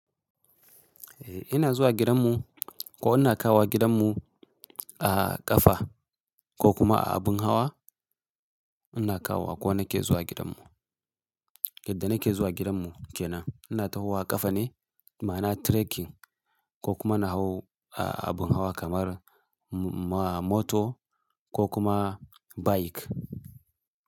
Eh ina zuwa gidanmu ko ina kawo gidanmu a ƙafa ko kuma a abin hawa. Ina kawo ko nake zuwa gidanmu. Yadda nake zuwa gidanmu kenan ina tahowa ƙafa ne ma'ana trekking ko kuma na hau a abin hawa kamar motor ko kuma bike.